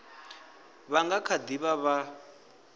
vha nga kha ḓi vha